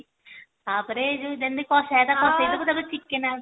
ତାପରେ ଯୋଉ ଯେମିତି କଷିବା କଥା କଷି ଦବୁ ତାପରେ chicken